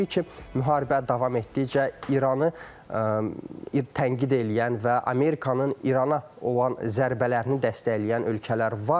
Təbii ki, müharibə davam etdikcə İranı tənqid eləyən və Amerikanın İrana olan zərbələrini dəstəkləyən ölkələr var.